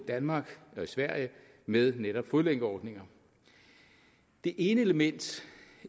danmark og sverige med netop fodlænkeordninger det ene element